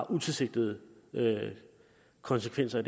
utilsigtede konsekvenser